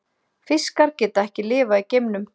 Fiskar geta ekki lifað í geimnum.